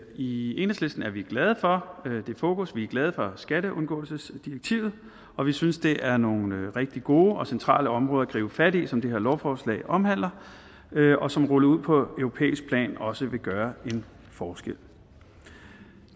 i enhedslisten er vi glade for det fokus vi er glade for skatteundgåelsesdirektivet og vi synes det er nogle rigtig gode og centrale områder at gribe fat i som det her lovforslag omhandler og som rullet ud på europæisk plan også vil gøre en forskel